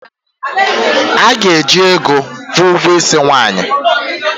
A ga-eji ego kwụọ ụgwọ isi nwaanyị